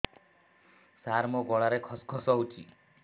ସାର ମୋ ଗଳାରେ ଖସ ଖସ ହଉଚି